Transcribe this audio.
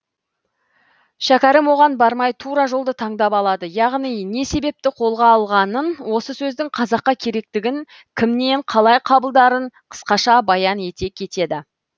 шәкәрім оған бармай тура жолды таңдап алады яғни не себепті қолға алғанын осы сөздің қазаққа керектігін кімнен қалай қабылдарын қысқаша баян ете кетеді